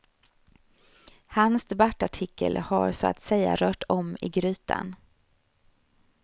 Hans debattartikel har så att säga rört om i grytan.